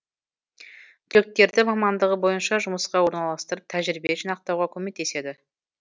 түлектерді мамандығы бойынша жұмысқа орналастырып тәжірибе жинақтауға көмектеседі